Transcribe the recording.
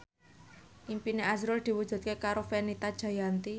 impine azrul diwujudke karo Fenita Jayanti